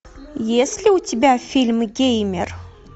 есть ли у тебя фильм геймер